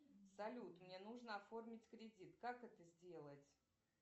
салют мне нужно оформить кредит как это сделать